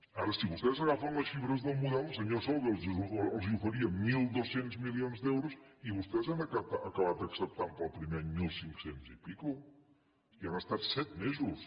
ara si vostès agafen les xifres del model el senyor solbes els oferia mil dos cents milions d’eu ros i vostès han acabat acceptant per al primer any mil cinc cents i escaig i han estat set mesos